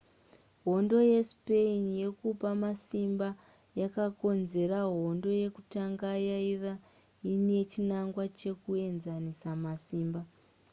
hondo yespain yekupa masimba yakakonzera hondo yekutanga yaiva nechinangwa chekuenzanisa masimba